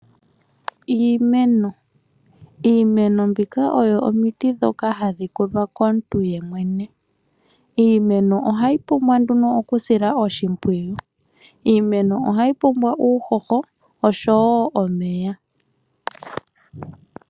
Iimeno. Iimeno mbika oyo omiti ndhoka ha dhi kunwa komuntu yemwene. Iimeno oha yi pumbwa oku silwa oshimpwiyu. Iimeno oha yi pumbwa uuhoho noshowo omeya.